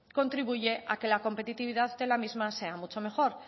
contribuye que la competitividad de la misma sea mucho mejor